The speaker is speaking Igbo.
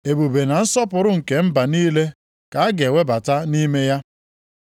Ebube na nsọpụrụ nke mba niile ka a ga-ewebata nʼime ya.